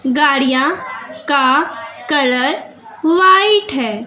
गाड़ियां का colour white है।